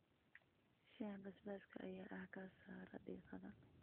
Shaaha basbaaska ayaa ah ka saara diiqada.